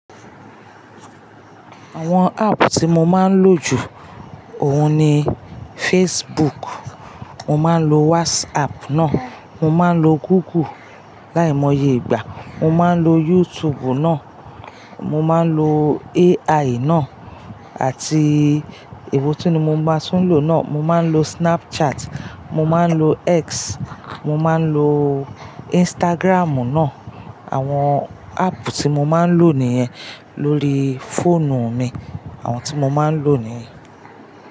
Àwọn app tí mo máa ń lò jù, òhun ni Facebook, mo máa ń lo WhatsApp náà, mo máa ń lo Google láìmọye ìgbà, mo máa ń lo YouTube náà, mo máa ń lo AI náà àti èwo tún ni mo máa tún lò náà, mo máa ń lo Snapchat, mo máa ń lo X, mo máa ń lo Instagram náà. Àwọn app tí mo máa ń lò níyẹn lórí fóònù mi. Àwọn tí mo máa ń lò nìyẹn.